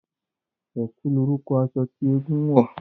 Ẹ̀kú lorúkọ aṣọ tí eégún ń wọ̀